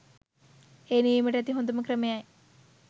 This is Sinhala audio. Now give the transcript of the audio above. එය නිවීමට ඇති හොඳම ක්‍රමයයි.